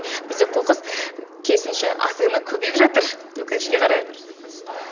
бізде қоқыс керісінше азаймай көбейіп жатыр өкінішке қарай иә дұрыс айтасын